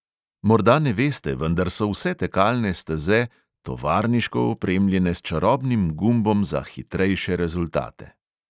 Morda ne veste, vendar so vse tekalne steze tovarniško opremljene s čarobnim gumbom za "hitrejše rezultate".